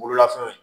Bololafɛnw